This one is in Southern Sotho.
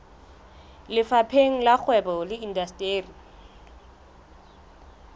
lefapheng la kgwebo le indasteri